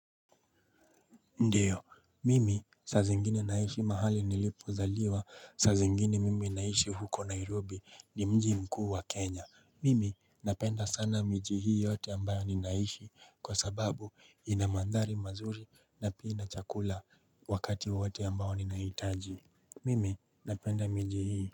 Ndio, mimi saa zingine naishi mahali nilipo zaliwa, saa zingine mimi naishi huko Nairobi ni mji mkuu wa Kenya. Mimi napenda sana miji hii yote ambayo ninaishi kwa sababu inamandhari mazuri na pia chakula wakati wote ambayo ninaitaji. Mimi napenda mji hii.